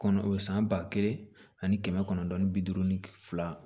Kɔnɔ o san ba kelen ani kɛmɛ kɔnɔntɔn ni bi duuru ni fila